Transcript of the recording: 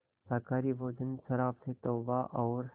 शाकाहारी भोजन शराब से तौबा और